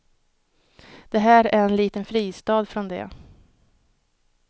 Det här är en liten fristad från det.